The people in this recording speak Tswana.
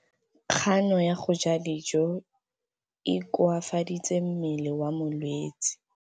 Kganô ya go ja dijo e koafaditse mmele wa molwetse.